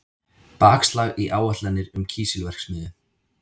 Bakslag í áætlanir um kísilverksmiðju